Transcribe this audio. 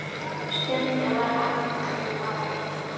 Stundum var afi bara einn.